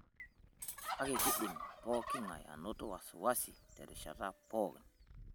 Kake, keidim pooking'ae anoto wasiwasi terishata pookin.